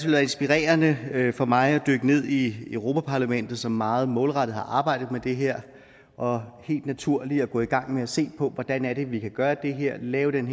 inspirerende for mig at dykke ned i europa parlamentet som meget målrettet har arbejdet med det her og helt naturligt gå i gang med at se på hvordan vi kan gøre det her og lave en